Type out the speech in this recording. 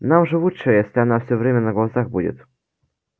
нам же лучше если она всё время на глазах будет